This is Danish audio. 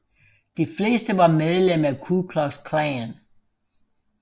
De fleste var medlem af Ku Klux Klan